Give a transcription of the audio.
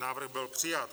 Návrh byl přijat.